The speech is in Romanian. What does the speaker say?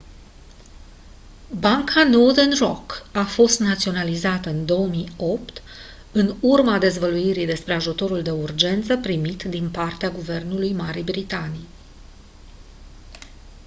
banca northern rock a fost naționalizată în 2008 în urma dezvăluirii despre ajutorul de urgență primit din partea guvernului marii britanii